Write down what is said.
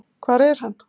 Hvar er hann?